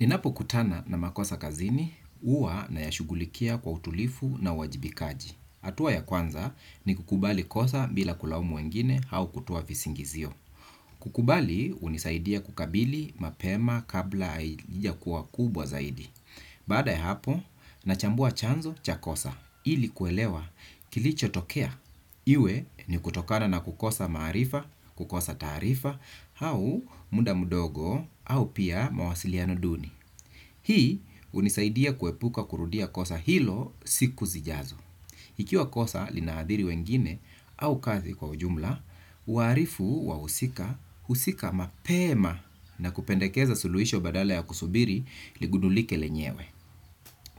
Ninapokutana na makosa kazini, huwa nayashughulikia kwa utulivu na uwajibikaji. Hatua ya kwanza ni kukubali kosa bila kulaumu wengine au kutoa visingizio. Kukubali, hunisaidia kukabili mapema kabla haijakuwa kubwa zaidi. Baada ya hapo, nachambua chanzo cha kosa. Ili kuelewa kilichotokea. Iwe ni kutokana na kukosa maarifa, kukosa taarifa, au muda mdogo au pia mawasiliano duni. Hii hunisaidia kuepuka kurudia kosa hilo siku zijazo. Ikiwa kosa linaadhiri wengine au kazi kwa ujumla, huarifu wahusika, husika mapema na kupendekeza suluhisho badala ya kusubiri ligundulike lenyewe.